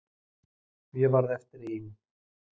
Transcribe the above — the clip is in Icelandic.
Og ég varð eftir ein.